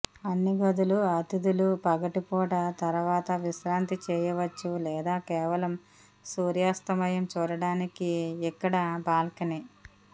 అన్ని గదులు అతిథులు పగటి పూట తర్వాత విశ్రాంతి చేయవచ్చు లేదా కేవలం సూర్యాస్తమయం చూడటానికి ఇక్కడ ఒక బాల్కనీ